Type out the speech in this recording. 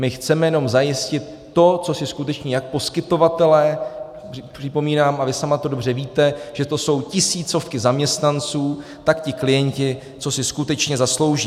My chceme jenom zajistit to, co si skutečně jak poskytovatelé - připomínám, a vy sama to dobře víte, že to jsou tisícovky zaměstnanců - tak i klienti, co si skutečně zaslouží.